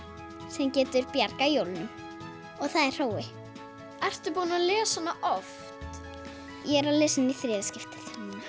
sem getur bjargað jólunum og það er Hrói ertu búin að lesa hana oft ég er að lesa hana í þriðja skiptið